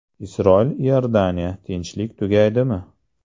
Isroil – Iordaniya: tinchlik tugaydimi?